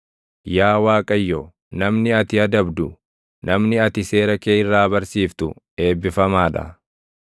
Yaa Waaqayyo, namni ati adabdu, namni ati seera kee irraa barsiiftu eebbifamaa dha;